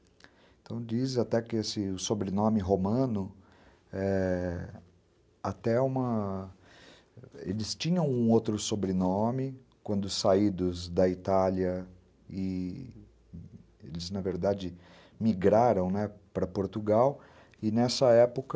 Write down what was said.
Então, diz até que esse sobrenome romano ~eh... até uma... Eles tinham um outro sobrenome quando saídos da Itália e eles, na verdade, migraram, né, para Portugal e, nessa época,